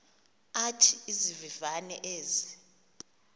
athi izivivane ezi